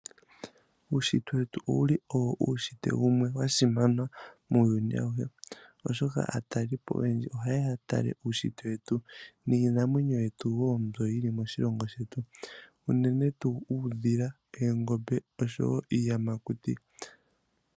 Uushitwe wetu owuli owo uushitwe wumwe wa simana muuyuni awuhe. Oshoka aatalelipo oyendji ohaye ya ya tale uushitwe wetu niinamwenyo yetu wo mbyoka yili moshilongo shetu. Unene tuu uudhila, oongombe, oshowo iiyamakuti.